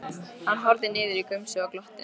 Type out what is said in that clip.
Hann horfði niður í gumsið og glotti.